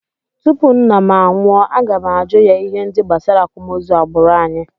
Tupu nna m anwụọ, aga m ajụ ya ihe ndị gbasara akwamozu agbụrụ anyị